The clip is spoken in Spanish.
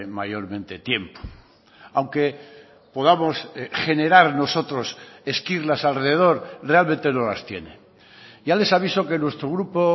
mayormente tiempo aunque podamos generar nosotros esquirlas alrededor realmente no las tiene ya les aviso que nuestro grupo